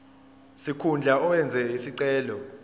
sikhundla owenze isicelo